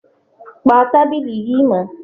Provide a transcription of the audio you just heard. Pa tábìlì yìí mọ́!